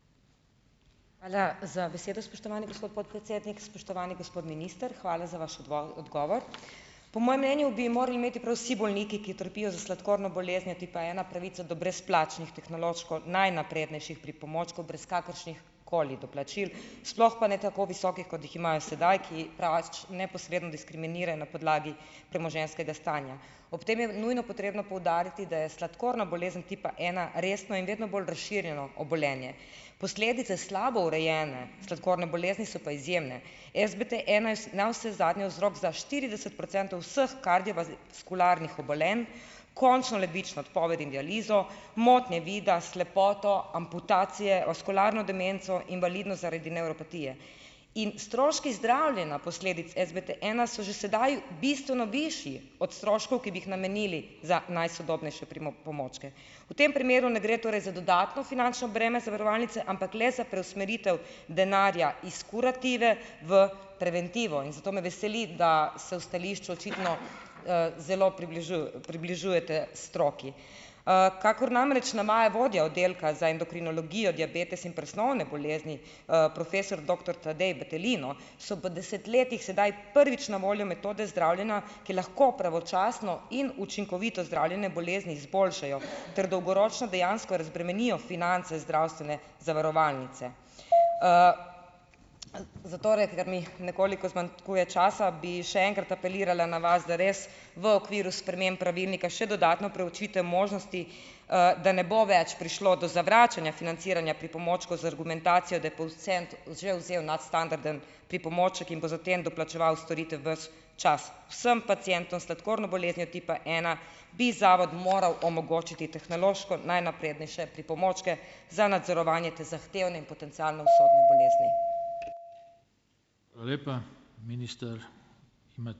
Hvala za besedo, spoštovani gospod podpredsednik. Spoštovani gospod minister, hvala za vaš odgovor. Po mojem mnenju bi morali imeti prav vsi bolniki, ki trpijo za sladkorno boleznijo tipa ena, pravico do brezplačnih tehnološko najnaprednejših pripomočkov brez kakršnihkoli doplačil, sploh pa ne tako visokih, kot jih imajo sedaj, ki pač neposredno diskriminirajo na podlagi premoženjskega stanja. Ob tem je nujno potrebno poudariti, da je sladkorna bolezen tipa ena resno in vedno bolj razširjeno obolenje. Posledice slabo urejene sladkorne bolezni so pa izjemne. SBT ena je navsezadnje vzrok za štirideset procentov vseh kardiovaskularnih obolenj, končno ledvično odpoved in dializo, motnje vida, slepoto, amputacije, vaskularno demenco invalidnost zaradi nevropatije. In stroški zdravljenja posledic SBT ena so že sedaj bistveno višji od stroškov, ki bi jih namenili za najsodobnejše pripomočke. V tem primeru torej ne gre za dodatno finančno breme zavarovalnice, ampak le za preusmeritev denarja iz kurative v preventivo, in zato me veseli, da se v stališču očitno, zelo približujete stroki. Kakor namreč navaja vodja oddelka za endokrinologijo, diabetes in presnovne bolezni, profesor doktor Tadej Battelino, so po desetletjih sedaj prvič na voljo metode zdravljenja, ki lahko pravočasno in učinkovito zdravljenje bolezni izboljšajo ter dolgoročno dejansko razbremenijo finance iz zdravstvene zavarovalnice. Zatorej, ker mi nekoliko zmanjkuje časa, bi še enkrat apelirala na vas, da res v okviru sprememb pravilnika še dodatno preučite možnosti, da ne bo več prišlo do zavračanja financiranja pripomočkov za argumentacijo, da je že vzel nadstandarden pripomoček in bo za tem doplačeval storitev ves čas. Vsem pacientom s sladkorno boleznijo tipa ena, bi zavod moral omogočiti tehnološko najnaprednejše pripomočke za nadzorovanje te zahtevne in potencialno usodne bolezni.